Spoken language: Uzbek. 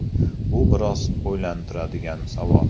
Bu biroz o‘ylantiradigan savol.